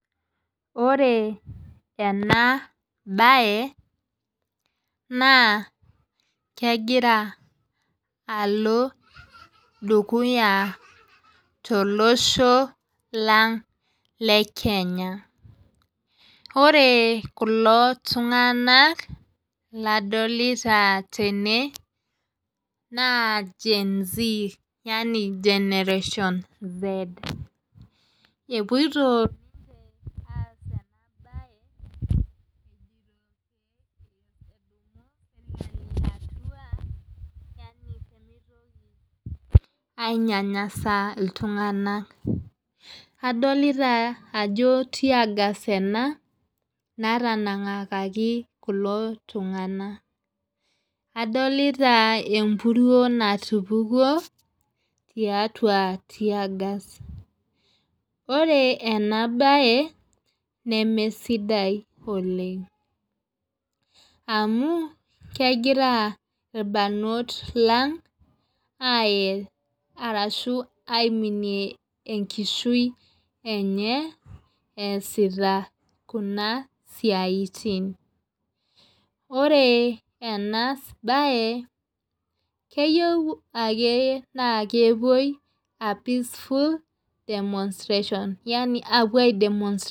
Ore ena bae naa kegira Alo dukuya to losho lang le kenya ore kulo tunganak ladolita tene naa gen z yaani generation z epuoito pee mitoki ainyanyasa iltunganak adolita ajo tear gas ena natanangakaki kulo tunganak adolita epuruo natupukuo tiatua tear gas ore ena bae neme sidai oleng amu kegira irbanot lang aye ashu aiminie ekishui enye easita kuna siaitin ore ena bae naa keyieu ake nepuoi aa peaceful demonstration yaani apuo ai demonstrate .